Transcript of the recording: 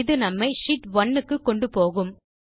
இது நம்மை ஷீட் 1 க்கு கொண்டுபோகும்